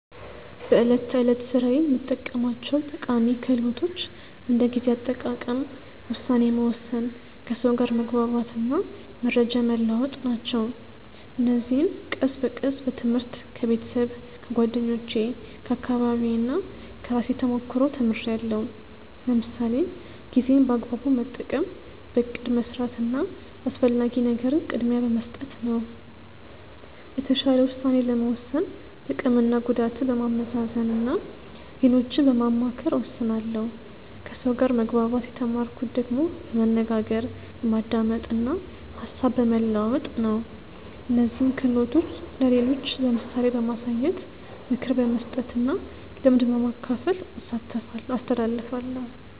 በዕለት ተዕለት ሥራዬ የምጠቀማቸው ጠቃሚ ክህሎቶች እንደ ጊዜ አጠቃቀም፣ ውሳኔ መወሰን፣ ከሰው ጋር መግባባት እና መረጃ መለዋወጥ ናቸው። እነዚህን ቀስ በቀስ በትምህርት፣ ከቤተሰብ፣ ከጓደኞቼ፣ ከአካባቢዬ እና ከራሴ ተሞክሮ ተምርያለሁ። ለምሳሌ ጊዜን በአግባቡ መጠቀም በእቅድ መስራት እና አስፈላጊ ነገርን ቅድሚያ በመስጠት ነው። የተሻለ ውሳኔ ለመወሰን ጥቅምና ጉዳትን በማመዛዘን እና ሌሎችን በማማከር እወስናለሁ ከሰው ጋር መግባባት የተማርኩት ደግሞ በመነጋገር፣ በማዳመጥ እና ሀሳብ በመለዋወጥ ነው። እነዚህን ክህሎቶች ለሌሎች በምሳሌ በማሳየት፣ ምክር በመስጠት እና ልምድ በማካፈል አስተላልፋለሁ።